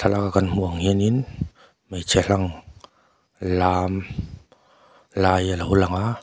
laka kan hmuh ang hianin hmeichhe hlang lam lai alo lang a.